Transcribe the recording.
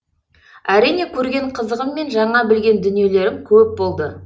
әрине көрген қызығым мен жаңа білген дүниелерім көп болды